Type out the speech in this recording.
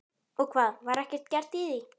Og hvað, var ekkert gert í því?